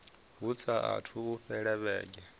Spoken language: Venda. hu saathu u fhela vhege